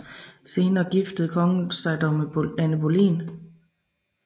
Senere giftede kongen sig dog med Anne Boleyn